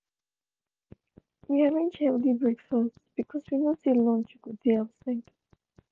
we arrange healthy breakfast because we know say lunch go dey outside.